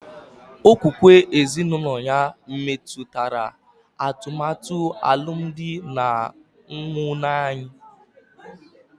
Okpukpe ezinụlọ ya metụtara atụmatụ alụmdi na nwunye anyị